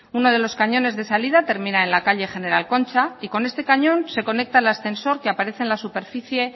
uno de los cañones de salida termina en la calle general concha y con este cañón se conecta al ascensor que aparece en la superficie